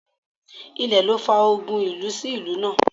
Ilẹ̀ ló fa ogun ìlú sí ìlú náà